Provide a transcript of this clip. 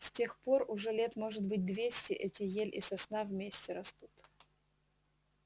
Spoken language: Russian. с тех пор уже лет может быть двести эти ель и сосна вместе растут